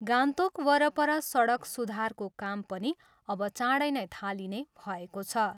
गान्तोक वरपर सडक सुधारको काम पनि अब चाँडै नै थालिने भएको छ।